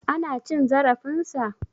Ana cin zarafin sa?